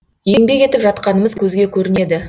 еңбек етіп жатқанымыз көзге көрінеді